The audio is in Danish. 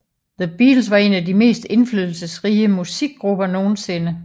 The Beatles var en af de mest indflydelsesrige musikgrupper nogensinde